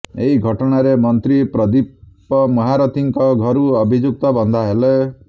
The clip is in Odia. ଏହି ଘଟଣାରେ ମନ୍ତ୍ରୀ ପ୍ରଦୀପ ମହାରଥୀଙ୍କ ଘରୁ ଅଭିଯୁକ୍ତ ବନ୍ଧା ହେଲେ